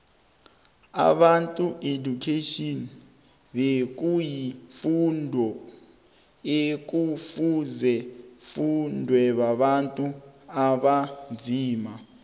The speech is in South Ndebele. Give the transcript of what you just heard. ibantu education bekuyi fundu ekufuzeifundwebontu abanzima